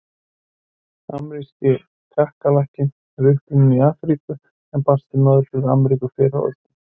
Ameríski kakkalakkinn er upprunninn í Afríku en barst til Norður-Ameríku fyrr á öldum.